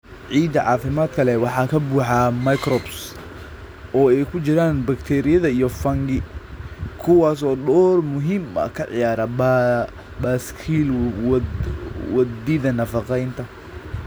Ciidda caafimaadka leh waxaa ka buuxa microbes, oo ay ku jiraan bakteeriyada iyo fungi, kuwaas oo door muhiim ah ka ciyaara baaskiil wadida nafaqeynta.